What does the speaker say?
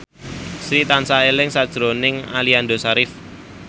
Sri tansah eling sakjroning Aliando Syarif